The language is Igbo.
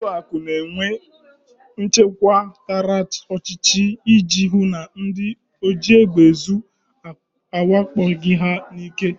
Ụlọakụ na-enwe nchekwa tara ọchịchị iji hụ na ndị ojiegbeezu awakpoghị ha n'ike